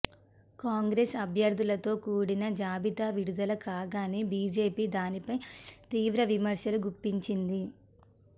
కాంగ్రెస్ అభ్యర్థులతో కూడిన జాబితా విడుదల కాగానే బీజేపీ దీనిపై తీవ్ర విమర్శలు గుప్పించింది